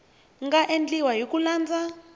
nga endliwa hi ku landza